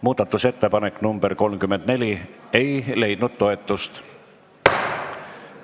Muudatusettepanek nr 34 ei leidnud toetust.